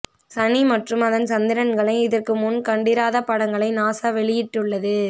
சனி மற்றும் அதன் சந்திரன்களை இதற்கு முன் கண்டிராத படங்களை நாசா வெளியிட்டுள்ளது